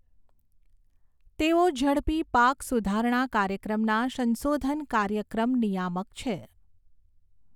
તેઓ ઝડપી પાક સુધારણા કાર્યક્રમના સંશોધન કાર્યક્રમ નિયામક છે.